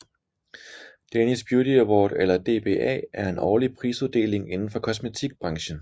Danish Beauty Award eller DBA er en årlig prisuddeling indenfor kosmetikbranchen